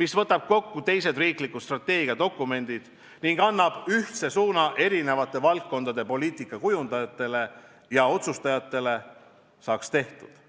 mis võtab kokku teised riiklikud strateegiadokumendid ning annab ühtse suuna erinevate valdkondade poliitikakujundajatele ja otsustajatele, saaks tehtud.